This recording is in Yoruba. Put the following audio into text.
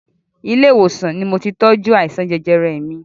Ilé ìwòsàn ni moti tọ́jú àìsàn jẹjẹrẹ mi